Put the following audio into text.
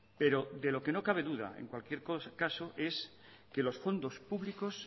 pero de lo que no cabe duda en cualquier caso es que los fondos públicos